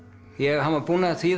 hann var búinn að þýða